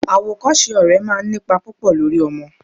Awokose ọ̀rẹ́ máa ń nípa púpò lórí ọmọ.